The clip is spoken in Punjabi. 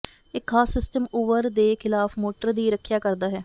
ਇੱਕ ਖਾਸ ਸਿਸਟਮ ਓਵਰ ਦੇ ਖਿਲਾਫ ਮੋਟਰ ਦੀ ਰੱਖਿਆ ਕਰਦਾ ਹੈ